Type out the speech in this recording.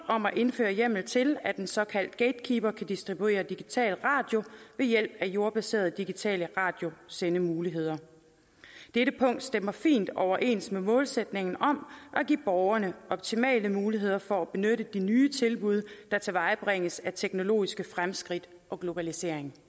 om at indføre hjemmel til at en såkaldt gatekeeper kan distribuere digital radio ved hjælp af jordbaserede digitale radiosendemuligheder dette punkt stemmer fint overens med målsætningen om at give borgerne optimale muligheder for at benytte de nye tilbud der tilvejebringes af teknologiske fremskridt og globalisering